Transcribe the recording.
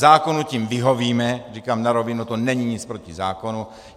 Zákonu tím vyhovíme, říkám na rovinu, to není nic proti zákonu.